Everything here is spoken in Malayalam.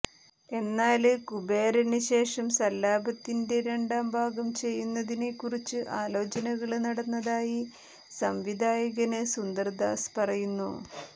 എന്നാല് കുബേരന് ശേഷം സല്ലാപത്തിന്റെ രണ്ടാം ഭാഗം ചെയ്യുന്നതിനെ കുറിച്ച് ആലോചനകള് നടന്നതായി സംവിധായകന് സുന്ദര്ദാസ് പറയുന്നു